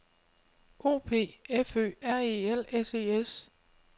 O P F Ø R E L S E S -